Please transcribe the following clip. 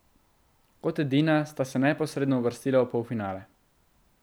Kot edina sta se neposredno uvrstila v polfinale.